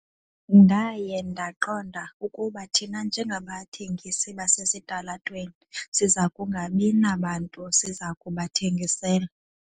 Ndaye ndaqonda ukuba thina njengabathengisi basesitalatweni siza kungabi nabantu siza kubathengisela.